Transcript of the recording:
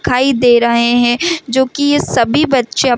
दिखाई दे रहे है जो की ये सभी बच्चे अप--